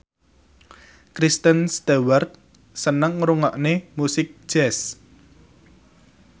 Kristen Stewart seneng ngrungokne musik jazz